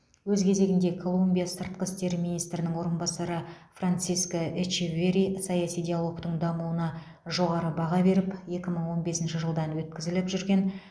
өз кезегінде колумбия сыртқы істер министрінің орынбасары франсиско эчеверри саяси диалогтың дамуына жоғары баға беріп екі мың он бесінші жылдан өткізіліп жүрген